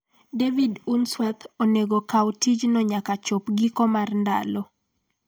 David Unsworth onego kaw tijno nyaka chop giko mag ndalo